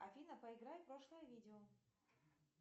афина проиграй прошлое видео